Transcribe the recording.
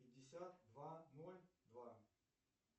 пятьдесят два ноль два